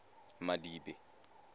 madibe